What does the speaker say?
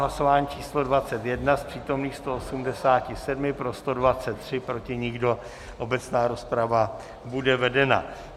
Hlasování číslo 21, z přítomných 178 pro 123, proti nikdo, obecná rozprava bude vedena.